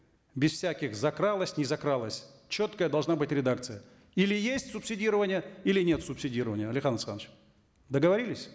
без всяких закралось не закралось четкая должна быть редакция или есть субсидирование или нет субсидирования алихан асханович договорились